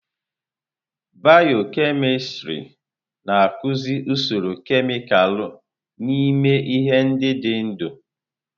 Bịyọ-kemịstrị na-akụzi usoro kemịkalụ n'ime ihe ndị dị ndụ.